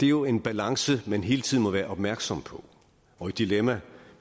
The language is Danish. jo en balance man hele tiden må være opmærksom på og et dilemma